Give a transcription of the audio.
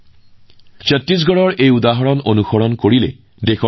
ইয়াৰ ফলত অৰণ্যৰ আশেপাশে বসবাস কৰা লোকসকলে হাতীৰ লগত খোজ মিলাবলৈ সহজ হৈ পৰিছে